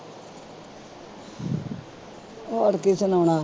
ਹੋਰ ਕੀ ਸੁਣਾਉਣਾ